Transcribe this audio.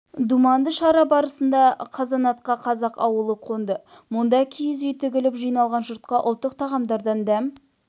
думанды шара барысында қазанатқа қазақ ауылы қонды мұнда киіз үй тігіліп жиналған жұртқа ұлттық тағамдардан дәм